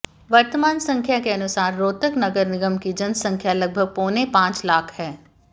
वर्तमान संख्या के अनुसार रोहतक नगर निगम की जनसंख्या लगभग पौने पांच लाख है